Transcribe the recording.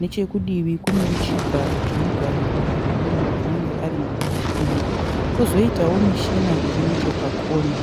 Nechekudivi kunewo chigaro chinogarirwa nemunhu anenge ari mukati umu. Kozoitawo mishina iri nechepakona.